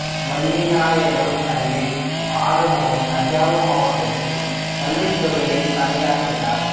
வள்ளிநாயகம் தந்தை ஆறுமுகம் தஞ்சாவூர் மாவட்டத்தில் கல்வித் துறையில் பணியாற்றினார்